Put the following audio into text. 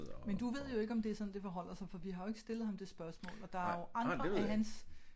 Men du ved jo ikke om det er sådan det forholder sig for vi har jo ikke stillet ham det spørgsmål og der er jo andre af hans